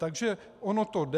Takže ono to jde.